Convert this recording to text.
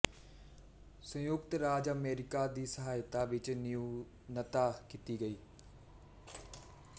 ਸੰਯੁਕਤ ਰਾਜ ਅਮਰੀਕਾ ਦੀ ਸਹਾਇਤਾ ਵਿੱਚ ਨਿਊਨਤਾ ਕੀਤੀ ਗਈ